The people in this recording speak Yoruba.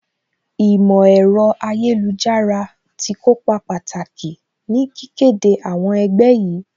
Ìmọ̀ ẹ̀rọ ayélujára tí kópa pàtàkì ní kíké de àwọn ẹgbẹ́ yìí